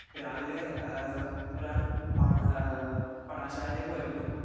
speaker 2 രാവിലെ ആ ഒരാൾ പാഠ ആ പഠന ശാലയിലേക്ക് വരുന്നു